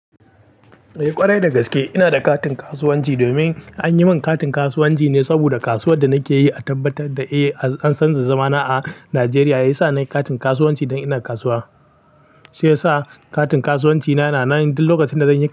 Eh ƙwarai dagaske ina da katin kasuwanci domin an yi min katin kasuwanci ne saboda kasuwar da nake yi a tabbatar da eh an san da zama na a Najeriya ya sa nayi katin kasuwanci dan ina kasuwa. Shiyasa katin kasuwanci na yana nan, duk lokacin da zanyi kasuwa.